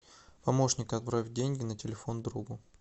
помощник отправь деньги на телефон другу